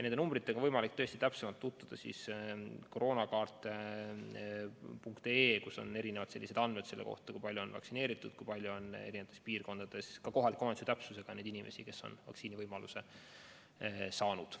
Nende arvudega on võimalik täpsemalt tutvuda veebilehel koroonakaart.ee, kus on andmed selle kohta, kui palju on vaktsineerituid, kui palju on eri piirkondades kohaliku omavalitsuse täpsusega neid inimesi, kes on vaktsiini saanud.